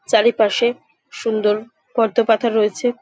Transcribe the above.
চারিপাশে সুন্দর পদ্ম পাতা রয়েছে ।